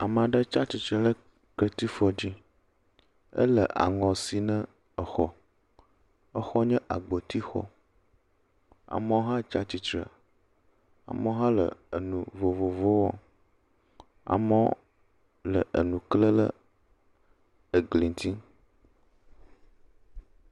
Ame aɖe tsi atsitre ɖe ketsifɔ dai. Ele aŋɔ sim ne exɔ. Exɔ nye agbotixɔ. Amewo hã tsi atsitre. Amewo hã le enu vovovowo wɔm. amewo le enu klam ɖe egli ŋuti.